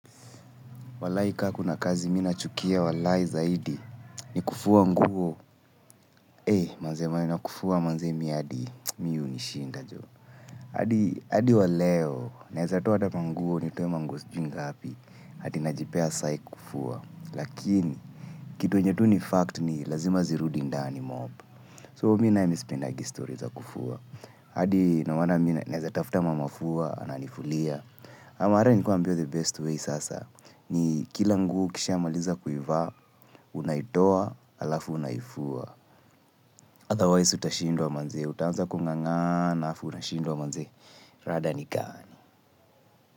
Walai ka kuna kazi mina chukia walai zaidi ni kufuwa nguo. Manze maneno kufuwa manze mi adi mi hunishinda jo. Adi hadi wa leo, naeza toa hata manguo ni toe manguo sijui ngapi. Ati najipea saiki kufuwa. Lakini, kitu yenye tu ni fact ni lazima zirudi ndani mob. So, mi naye mi sipendagi stori za kufuwa. Hadi, nowanda mi na, naeza tafuta mama fua, ananifulia. Ama ata nikuwa nambiwa the best way sasa. Ni kila nguo ukisha maliza kuivaa, unaitoa, alafu unaifua Adhawais utashindwa manze, utaanza kung'ang'ana, afu unashindwa manze, rada nigani.